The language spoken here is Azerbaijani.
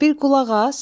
Bir qulaq as!